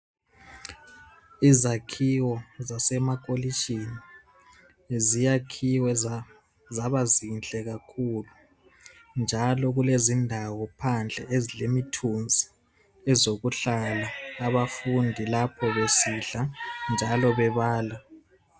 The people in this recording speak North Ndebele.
Izakhiwo zasema-Kolitshini ziyakhiwe za-zabazinhle kakhulu, njalo kulezindawo phandle ezilemithunzi ezokuhlala abafundi lapho besidla, njalo bebala.